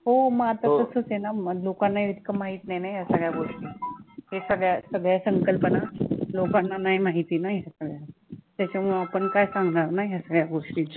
हो मग आता तसचं आहे ना मग लोकांना इतकं माहित नाही ना ह्या सगळ्या गोष्टी हे सगळ्या सगळ्या संकल्पना लोकांना नाही माहित ना हे सगळं त्याच्यामुळे आपण काय सांगणार ना ह्या सगळ्या गोष्टी